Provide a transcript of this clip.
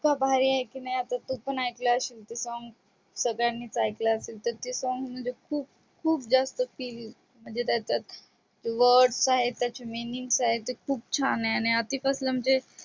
भारी आहे कि नाही आता तू पण ऐकले असशील ते song संगलींनीच ऐकल असेल ते song म्हणजे खूप ज्यात words आहेत त्याचे meaning आहेत खूप छान आहे आणि आधी पासून ते